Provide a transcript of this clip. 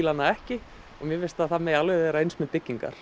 hana ekki mér finnst að það megi alveg vera eins með byggingar